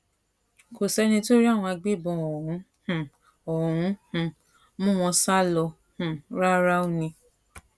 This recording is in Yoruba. kò sẹni tó rí àwọn agbébọn ọhún um ọhún um mú wọn sá lọ um ráúráú ni